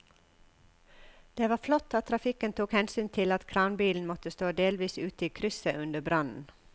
Det var flott at trafikken tok hensyn til at kranbilen måtte stå delvis ute i krysset under brannen.